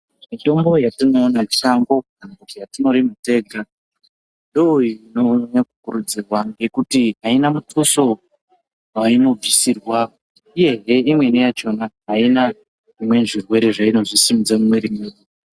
Mitombo yatinoona mushango kana kuti yatinorima tega ,ndoyinonyanya kukurudzirwa ngekuti aina mithuso wainobvisirwa, uyehe imweni yakhona ,aina zvirwere zvimweni zveinozosimudze mumwiri dzedu.